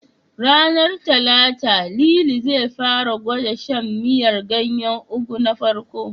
Ranar Talata, Lili zai fara gwada shan miyar ganyen Ugu na farko.